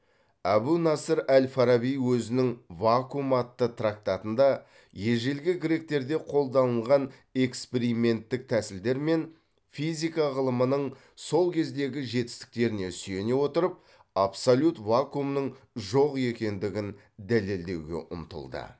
әбу насыр әл фараби өзінің вакуум атты трактатында ежелгі гректерде қолданылған эксперименттік тәсілдер мен физика ғылымының сол кездегі жетістіктеріне сүйене отырып абсолют вакуумның жоқ екендігін дәлелдеуге ұмтылды